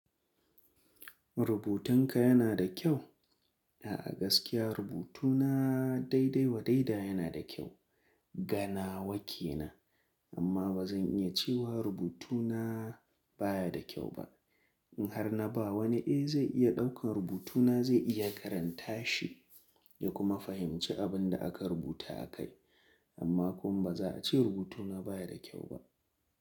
Rubutun ka yana da kyau? A'a gaskiya rubutuna daidai wa daida yana da kyau. Ga nawa kenan, amma ba zan iya cewa rubutuna baya da kyau ba. In har na ba wani eh zai iya ɗaukan rubutuna zai iya karanta shi ya kuma fahimci abin da aka rubuta a kai. Amma kuma ba za a ce rubutuna baya da kyau ba.